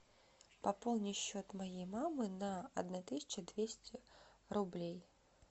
пополни счет моей мамы на одна тысяча двести рублей